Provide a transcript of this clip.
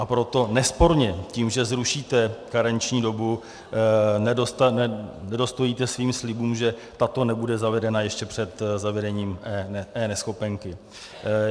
A proto nesporně tím, že zrušíte karenční dobu, nedostojíte svým slibům, že tato nebude zavedena ještě před zavedením eNeschopenky.